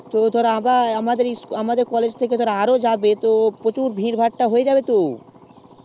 তো আবার আমাদের তো college থেকে আরো যাবে তো প্রচুর ভিড় ভাট্টা হয়ে যাবে তো